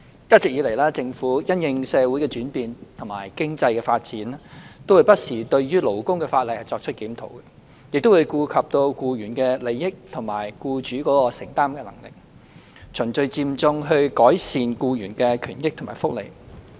一直以來，政府因應社會的轉變和經濟發展，會不時對勞工法例作出檢討，並顧及僱員的利益，以及僱主的承擔能力，循序漸進地改善僱員的權益和福利。